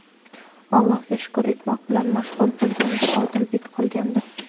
Allohga shukr etmoq bilan mashg‘ul bo‘lgan bir Odilbek qolgandi.